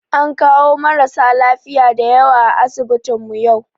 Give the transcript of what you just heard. An kawo marasa lafiya da yawa a asibitinmu yau